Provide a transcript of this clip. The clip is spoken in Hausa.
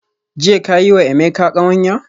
Jiya ka yi wa Emeka kawanya?